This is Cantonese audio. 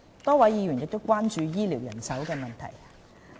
多位議員關注醫療人手問題。